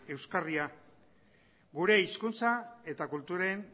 euskarria gure hizkuntza eta kulturen